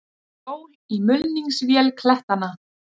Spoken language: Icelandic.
Hjól í mulningsvél klettanna.